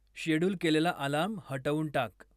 schedule केलेला alarm हटवून टाक